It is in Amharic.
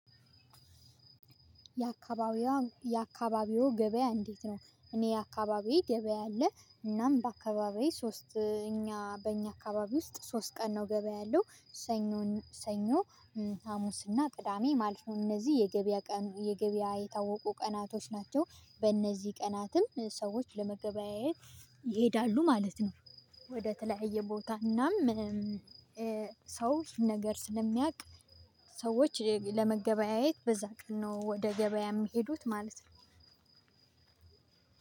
የአካባቢው ገበያ እንዴት ነው? እኔ አካባቢ ገበያ አለ። እናም በአካባቢው ሶስት እኛ በእኛ አካባቢ ውስጥ ሶስት ቀን ነው ገበያ ያለው። ሰኞ ና ሰኞ፣ ሀሙስ ና ቅዳሜ ማለት ነው። እነዚሁ የገበያ ቀን የገበያ የታወቁ ቀናቶች ናቸው። በነዚህ ቀናት ሰዎች ለመገበያየት ይሄዳሉ ማለት ነው። ወደ ተለያየ ቦታና እናም ሰው ነገር ስለሚያቅ ሴዎች ለመገበያየት በዛ ቀን ነው ወደ ገበያ የሚሄዱት ማለት ነው።